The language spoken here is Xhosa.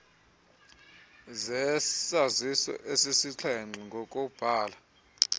zesaziso ezisixhenxe ngokobhala